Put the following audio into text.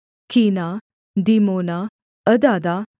कीना दीमोना अदादा